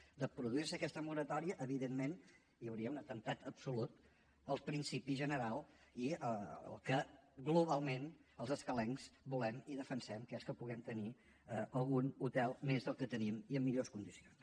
si es produís aquesta moratòria evidentment hi hauria un atemptat absolut al principi general i al que globalment els escalencs volem i defensem que és que puguem tenir algun hotel més del que tenim i en millors condicions